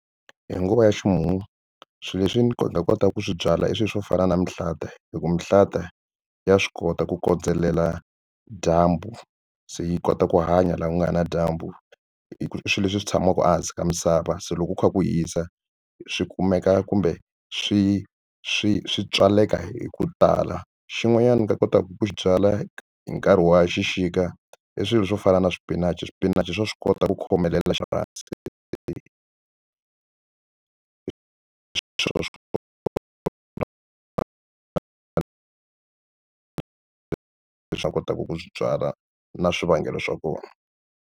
Hi guva ya ximumu swilo leswi nga kotaka ku swi byala i swilo swo fana na mihlata hi ku mihlata ya swi kota ku kondzelela dyambu se yi kota ku hanya laha ku nga na dyambu i swilo leswi swi tshamaka a hansi ka misava se loko ku kha ku hisa swi kumeka kumbe swi swi swi tswaleka hi ku tala xin'wanyana ndzi nga kotaka ku swi byala hi nkarhi wa xixika i swilo swo fana na swipinachi swipinachi swa swi kota ku khomelela kotaka ku swi byala na swivangelo swa kona.